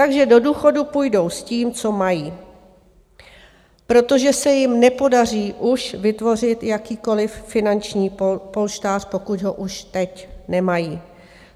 Takže do důchodu půjdou s tím, co mají, protože se jim nepodaří už vytvořit jakýkoliv finanční polštář, pokud ho už teď nemají.